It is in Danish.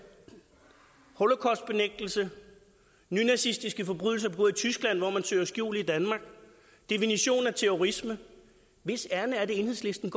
holocaustbenægtelse nynazistiske forbrydelser begået i tyskland hvor man søger skjul i danmark definitionen af terrorisme hvis ærinde er det enhedslisten